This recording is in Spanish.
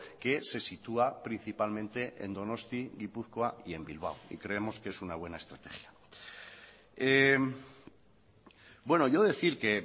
que se sitúa principalmente en donosti gipuzkoa y en bilbao y creemos que es una buena estrategia bueno yo decir que